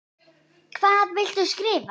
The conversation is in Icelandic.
Hvað viltu skrifa?